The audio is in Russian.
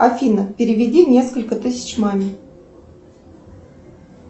афина переведи несколько тысяч маме